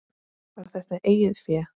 Var þetta eigið fé?